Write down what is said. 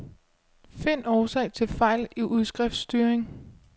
Find årsag til fejl i udskriftstyring.